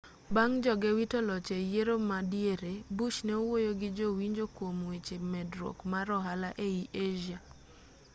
bang' joge wito loch e yiero ma diere bush ne owuoyo gi jo-winjo kuom weche medruok mar ohala ei asia